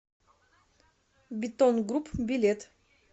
бетон групп билет